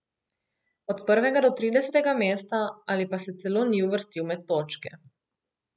Od prvega do tridesetega mesta ali pa se celo ni uvrstil med točke.